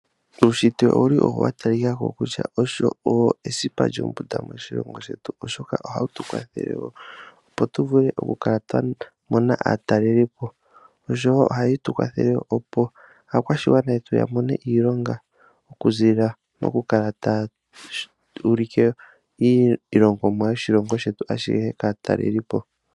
Uunshitwe owuli wa talika ko kutya owo esipa lyombunda moshilongo shetu. Oshoka ohawu tu kwathele opo tu vule okukala twa mona aatalelipo. Nosho wo ohaye tu kwathele opo aakwashigwana yetu ya mone iilonga okuziilila mokukala taya ulike iilongomwa yoshilongo shetu ashihe kaatalelipo.